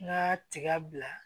N ka tiga bila